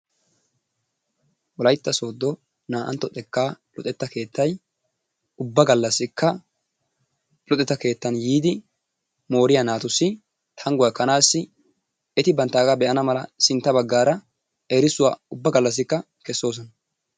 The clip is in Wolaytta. Wolaytta sooddo naa'antto xekkaa luxetta kettay ubba galassikka luxetta keettan yiidi mooriya naatussi tanguwa ekkanaassi eti banttaaga be'anaassi sintta baggaara erissuwa ubba galassikka kesoosona.